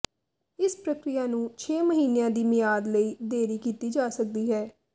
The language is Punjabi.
ਇਸ ਪ੍ਰਕਿਰਿਆ ਨੂੰ ਛੇ ਮਹੀਨਿਆਂ ਦੀ ਮਿਆਦ ਲਈ ਦੇਰੀ ਕੀਤੀ ਜਾ ਸਕਦੀ ਹੈ